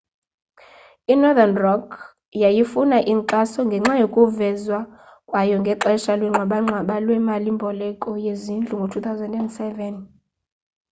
i-northern rock yayifuna inkxaso ngenxa yokuvezwa kwayo ngexesha lwengxabangxaba lwemali mboleko yezindlu ngo-2007